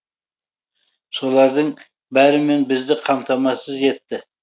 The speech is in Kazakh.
солардың бәрімен бізді қамтамасыз етті